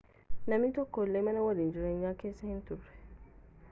namni tokko illee mana waliin jireenyaa keessa hin turre